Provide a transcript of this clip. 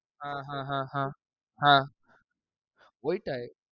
আ হাহাহাহা। হা, ওইটায়।